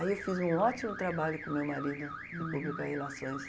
Aí eu fiz um ótimo trabalho com meu marido uhum de publicar relações.